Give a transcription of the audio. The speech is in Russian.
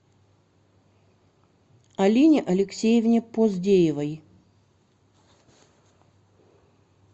алине алексеевне поздеевой